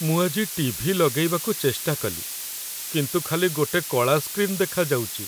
ମୁଁ ଆଜି ଟି.ଭି. ଲଗେଇବାକୁ ଚେଷ୍ଟା କଲି କିନ୍ତୁ ଖାଲି ଗୋଟେ କଳା ସ୍କ୍ରିନ୍ ଦେଖାଯାଉଚି ।